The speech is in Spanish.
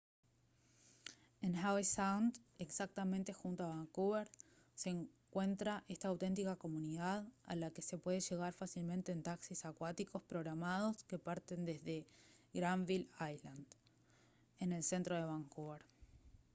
en howe sound exactamente junto a vancouver se encuentra esta auténtica comunidad a la que se puede llegar fácilmente en taxis acuáticos programados que parten desde granville island en el centro de vancouver